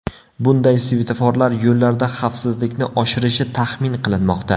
Bunday svetoforlar yo‘llarda xavfsizlikni oshirishi taxmin qilinmoqda.